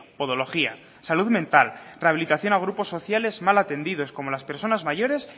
podología salud mental rehabilitación a grupos sociales mal atendidos como las personas mayores